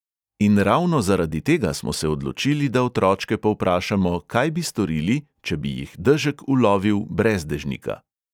In ravno zaradi tega smo se odločili, da otročke povprašamo, kaj bi storili, če bi jih dežek ulovil brez dežnika.